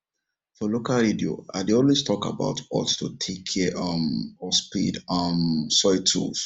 for local radio i dey always talk about hot to take care um of spade um soil tools